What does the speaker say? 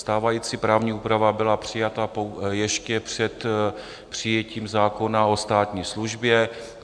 Stávající právní úprava byla přijata ještě před přijetím zákona o státní službě.